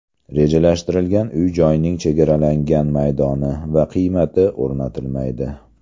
Rejalashtirilgan uy-joyning chegaralangan maydoni va qiymati o‘rnatilmaydi.